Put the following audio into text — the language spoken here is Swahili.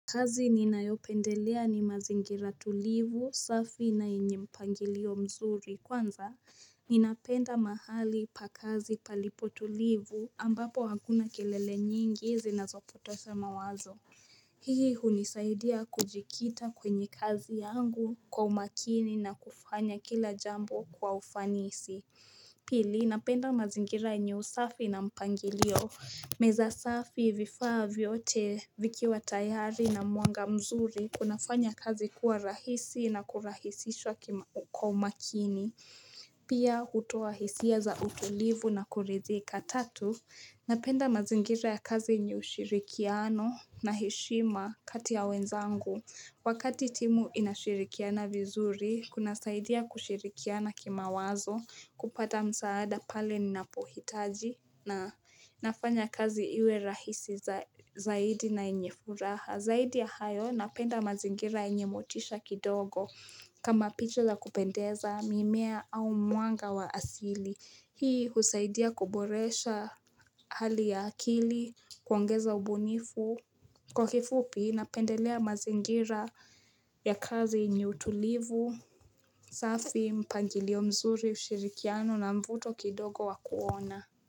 Kazi ninayopendelea ni mazingira tulivu, safi na yenye mpangilio mzuri kwanza ninapenda mahali pa kazi palipotulivu ambapo hakuna kelele nyingi zinazopotosha mawazo. Hii hunisaidia kujikita kwenye kazi yangu kwa umakini na kufanya kila jambo kwa ufanisi. Pili, napenda mazingira yenye usafi na mpangilio. Meza safi vifaa vyote vikiwa tayari na mwanga mzuri kunafanya kazi kuwa rahisi na kurahisishwa kwa umakini. Pia hutoa hisia za utulivu na kuridhika tatu Napenda mazingira ya kazi yenye ushirikiano na heshima kati ya wenzangu Wakati timu inashirikiana vizuri, kunasaidia kushirikiana kimawazo kupata msaada pale ninapohitaji na nafanya kazi iwe rahisi zaidi na yenye furaha Zaidi ya hayo, napenda mazingira yenye motisha kidogo kama picha za kupendeza mimea au mwanga wa asili Hii husaidia kuboresha hali ya akili, kuongeza ubunifu Kwa kifupi, napendelea mazingira ya kazi yenye utulivu safi mpangilio mzuri ushirikiano na mvuto kidogo wa kuona.